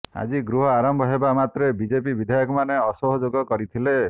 ଆଜି ଗୃହ ଆରମ୍ଭ ହେବା ମାତ୍ରେ ବିଜେପି ବିଧାୟକମାନେ ଅସହଯୋଗ କରିଥିଲେ